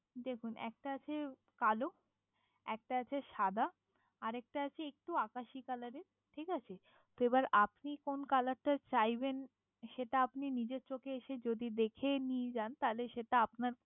দেখুন একটা আছে কালো, একটা আছে সাদা আর একটা আছে একটু আকাশি কালারের ঠিক আছে তো এবার আপনি কোন কালারটা চাইবেন সেটা আপনি নিজের চোখে এসে যদি দেখে নিয়ে যান, তাহলে সেটা আপনার